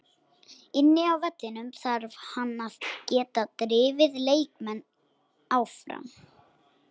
Inni á vellinum þarf hann að geta drifið leikmenn áfram.